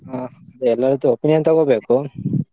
ಹಾ ಎಲ್ಲರತ್ರ opinion ತಗೋಬೇಕು